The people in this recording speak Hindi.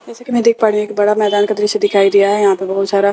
जैसे की मैं देख पा रही हूँ एक बड़ा मैदान का दृश्य दिखाई दिया है यहाँ पर बहुत सारा --